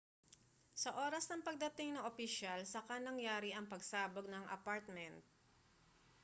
sa oras ng pagdating ng opisyal saka nangyari ang pagsabog ng apartment